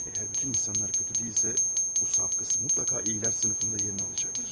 Əgər bütün insanlar pis deyilsə, bu saf qız mütləq yaxşılar sinfində yerini tutacaqdır.